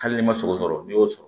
Hali n'i ma sogosɔrɔ n'i y'o sɔrɔ